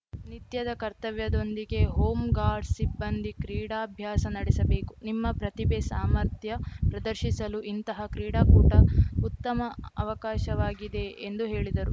ನಿತ್ಯದ ಕರ್ತವ್ಯದೊಂದಿಗೆ home guards ಸಿಬ್ಬಂದಿ ಕ್ರೀಡಾಭ್ಯಾಸ ನಡೆಸಬೇಕು ನಿಮ್ಮ ಪ್ರತಿಭೆ ಸಾಮರ್ಥ್ಯ ಪ್ರದರ್ಶಿಸಲು ಇಂತಹ ಕ್ರೀಡಾಕೂಟ ಉತ್ತಮ ಅವಕಾಶವಾಗಿದೆ ಎಂದು ಹೇಳಿದರು